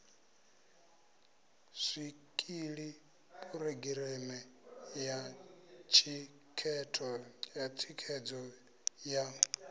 zwikili phurogireme ya thikhedzo ya